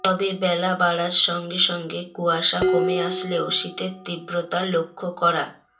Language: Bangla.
তবে বেলা বাড়ার সঙ্গে সঙ্গে কুয়াশা কমে আসলেও শীতের তীব্রতা লক্ষ্য করা